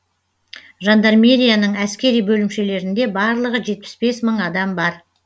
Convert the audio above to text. жандармерияның әскери бөлімшелерінде барлығы жетпіс бес мың адам бар